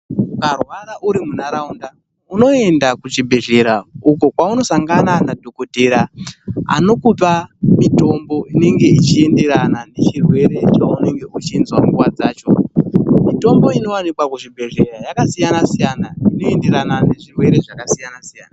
Ukarwara uri munharaunda unoenda kuchibhedhlera uko kwaunosangana nadhokodheya anokupa mitombo inenge ichienderana nechirwere chaunenge uchizwa nguwa dzacho. Mitombo inowanikwa kuchibhedhlera yakasiyana siyana inoenderana nezvirwere zvakasiyana -siyana.